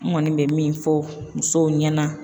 N kɔni bɛ min fɔ musow ɲɛna